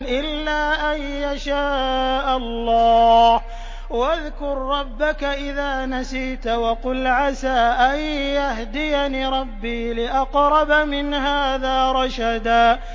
إِلَّا أَن يَشَاءَ اللَّهُ ۚ وَاذْكُر رَّبَّكَ إِذَا نَسِيتَ وَقُلْ عَسَىٰ أَن يَهْدِيَنِ رَبِّي لِأَقْرَبَ مِنْ هَٰذَا رَشَدًا